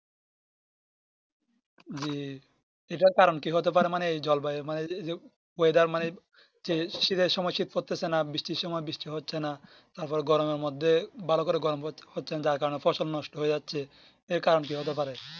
জি এটার কারণ কি হতে পারে মানে জল বায়ু মানে oyedar যে শীতের সময় সিঁথি পড়তেছে না বৃষ্টির সময় বৃষ্টি হচ্ছে না তার পর গরমের মধ্যে ভালো করে গরম হচ্ছে না যার কারণে ফসল নোট হয়ে যাচ্ছে এর কারণ কি হতে পারে